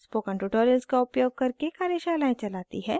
spoken tutorials का उपयोग करके कार्यशालाएं चलाती है